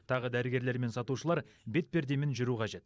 тағы дәрігерлер мен сатушылар да бетпердемен жүру қажет